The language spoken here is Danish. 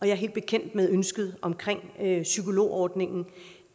er helt bekendt med ønsket omkring psykologordningen